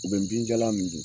U bɛ binjalan min